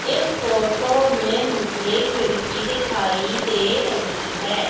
इस फोटो मे मुझे खिड़की दिखाई दे रही है।